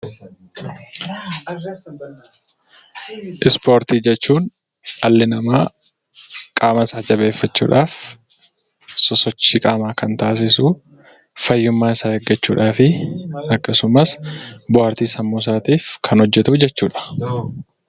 Ispoortii jechuun dhalli namaa qaama isaa jabeeffachuudhaaf sosochii qaamaa kan taasisuu fayyummaa isaa eeggachuudhaafi akkasumas bohaartii sammuusaatiif kan hojjatuu jechuudha.